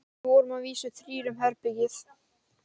Við vorum að vísu þrír um herbergið.